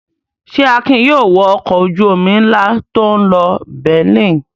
Ṣé Akin yóò wọ ọkọ̀ ojú-omi ńlá tó ń lọ Berlin?